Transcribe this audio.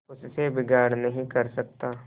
उससे बिगाड़ नहीं कर सकता